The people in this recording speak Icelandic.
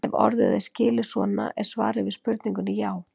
Ef orðið er skilið svona er svarið við spurningunni já.